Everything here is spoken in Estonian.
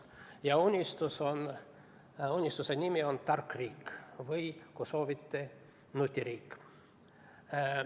Ja unistuse nimi on tark riik või kui soovite, nutiriik.